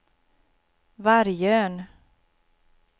Vargön